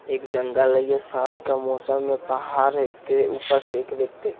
एक जंगल है ये शाम का मौसम में पहाड़ है के ऊपर से एक व्यक्ति--